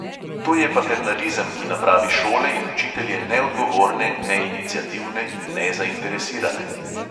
To je paternalizem, ki napravi šole in učitelje neodgovorne, neiniciativne in nezainteresirane.